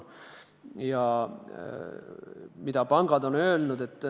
Ja mida pangad on öelnud?